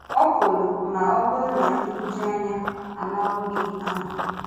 Ọ̀ pụrụ ma ọ bụrụ na nhụjuanya amàwo gị ahụ.